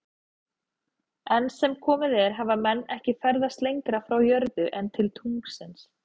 Enn sem komið er hafa menn ekki ferðast lengra frá jörðu en til tunglsins.